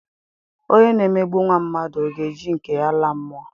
Onye na-emegbu nwa mmadụ, ọ ga-eji nke ya laa mụọ?